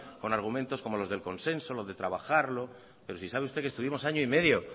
con argumentos como los del consenso lo de trabajarlo pero si sabe usted que estuvimos año y medio